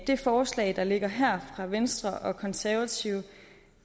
det forslag der ligger her fra venstre og konservative